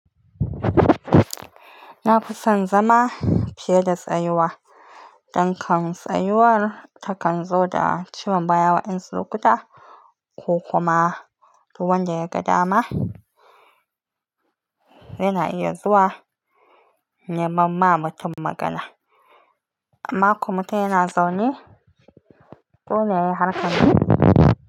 Na fi son zama fiye da tsayuwa. Dan kan tsayuwar takan zo da ciwon baya wa'insu lokuta ko kuma duk wanda ya ga dama yana iya zuwa ya ma mutum magana. Makon mu tayi na zaune to me ya harka ni?